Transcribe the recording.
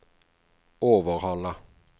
Overhalla